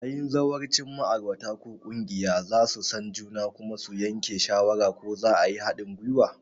Yayin zawarcin, ma'aurata ko ƙungiya za su san juna kuma su yanke shawara ko za a yi haɗin gwiwa.